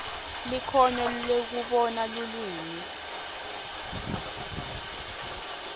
likhono lekubona lulwimi